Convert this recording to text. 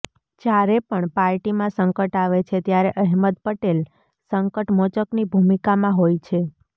જ્યારે પણ પાર્ટીમાં સંકટ આવે છે ત્યારે અહેમદ પટેલ સંકટ મોચકની ભૂમિકામાં હોય છે